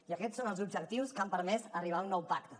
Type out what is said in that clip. i aquests són els objectius que han permès arribar a un nou pacte